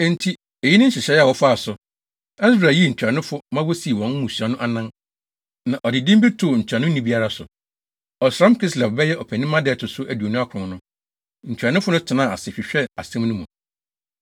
Enti eyi ne nhyehyɛe a wɔfaa so. Ɛsra yii ntuanofo ma wosii wɔn mmusua no anan, na ɔde din bi too ntuanoni biara so. Ɔsram Kislev (bɛyɛ Ɔpɛnimma) da a ɛto so aduonu akron no, ntuanofo no tenaa ase hwehwɛɛ asɛm no mu.